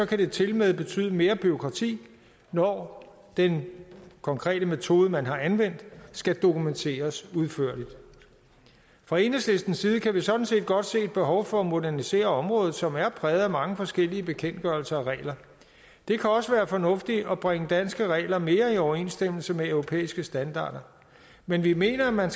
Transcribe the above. det tilmed betyde mere bureaukrati når den konkrete metode man har anvendt skal dokumenteres udførligt fra enhedslistens side kan vi sådan set godt se et behov for at modernisere området som er præget af mange forskellige bekendtgørelser og regler det kan også være fornuftigt at bringe danske regler mere i overensstemmelse med europæiske standarder men vi mener at man